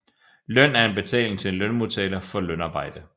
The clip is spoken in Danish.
Løn er en betaling til en lønmodtager for lønarbejde